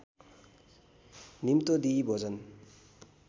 निम्तो दिई भोजन